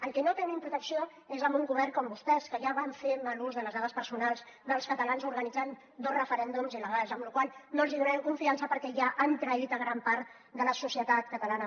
el que no tenim protecció és amb un govern com vostès que ja van fer mal ús de les dades personals dels catalans organitzant dos referèndums il·legals amb la qual cosa no els donem confiança perquè ja han traït gran part de la societat catalana